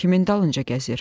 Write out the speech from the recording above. kimin dalınca gəzir?